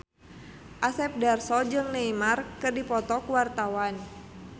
Asep Darso jeung Neymar keur dipoto ku wartawan